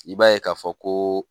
I b'a ye k'a fɔ ko